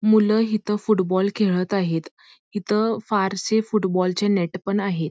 मुलं फुटबॉल खेळत आहेत इथे फारसे फ़ुटबाँलचे नेट आहेत|